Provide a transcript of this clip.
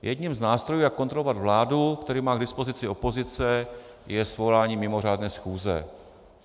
Jedním z nástrojů, jak kontrolovat vládu, který má k dispozici opozice, je svolání mimořádné schůze.